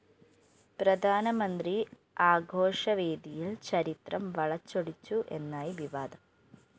പ്രധാനമന്ത്രി ആഘോഷവേദിയില്‍ ചരിത്രം വളച്ചൊടിച്ചു എന്നായി വിവാദം